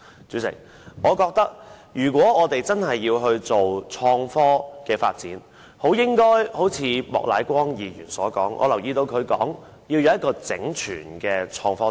主席，如果我們真的要鼓勵創科發展，便應如莫乃光議員所說，要有一套整全的創科政策。